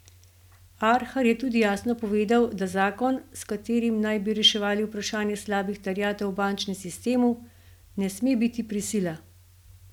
Arhar je tudi jasno povedal, da zakon, s katerim naj bi reševali vprašanje slabih terjatev v bančnem sistemu, ne sme biti prisila.